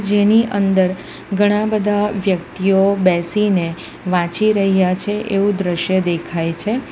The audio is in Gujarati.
જેની અંદર ઘણા બધા વ્યક્તિઓ બેસીને વાંચી રહ્યા છે એવું દ્રશ્ય દેખાય છે.